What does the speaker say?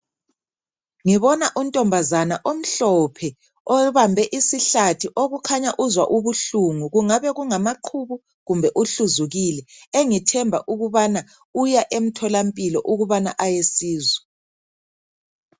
Ngibona untombazane omhlophe obambe isihlathi okukhanya uzwa ubuhlungu kungabe kungamaqhubu kumbe uhluzukile engithemba ukubana uya emtholampilo ukubana ayesizwa